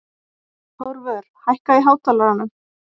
Þórvör, hækkaðu í hátalaranum.